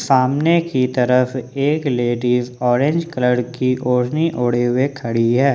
सामने की तरफ एक लेडिस ऑरेंज कलर की ओढ़नी ओढ़े हुए खड़ी है।